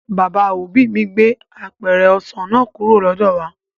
Bàbá òbí mi gbé apẹ̀rẹ̀ ọsàn náà kúrò lọ́dọ̀ wà